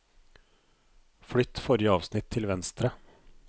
Flytt forrige avsnitt til venstre